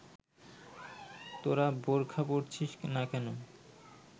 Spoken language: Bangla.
তোরা বোরখা পরছিস না কেন